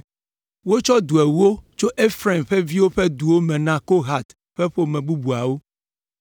Wotsɔ du ewo tso Efraim ƒe viwo ƒe duwo me na Kohat ƒe ƒome bubuawo.